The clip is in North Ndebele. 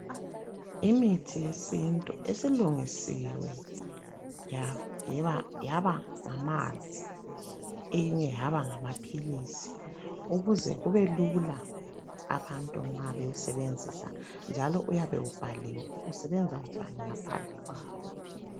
Imithi yesintu esilungisiwe yaba ngamanzi eyinye yaba ngamaphilisi ukuze kubelula abantu nxa bewusebenzisa, njalo uyabe ubhaliwe ukuthi usebenza njani ngaphandle kwawo.